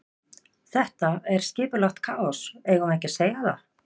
Þetta er skipulagt kaos, eigum við ekki að segja það?